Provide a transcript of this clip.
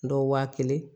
Dɔw waa kelen